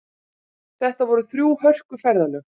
Þetta voru þrjú hörku ferðalög